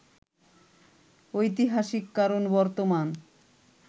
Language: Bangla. ঐতিহাসিক কারণ বর্তমান